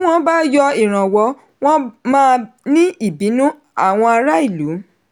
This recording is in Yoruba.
tí wọn bá yọ ìrànwọ́ wọ́n máa ní ìbínú àwọn ará ìlú.